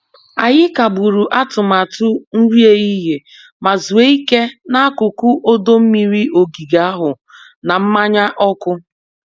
Anyị kagburu atụmatụ nri ehihie ma zuo ike n'akụkụ ọdọ mmiri ogige ahụ na mmanya ọkụ.